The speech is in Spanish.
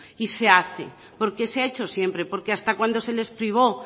y se hace porque se ha hecho siempre porque hasta cuando se les privó